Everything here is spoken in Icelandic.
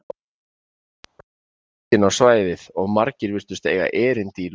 Fólkið streymdi inn á svæðið og margir virtust eiga erindi í Lúllabúð.